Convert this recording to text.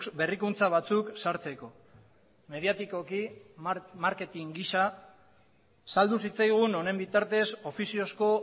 berrikuntza batzuk sartzeko mediatikoki marketing gisa saldu zitzaigun honen bitartez ofiziozko